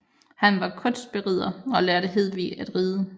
Han var kunstberider og lærte Hedvig at ride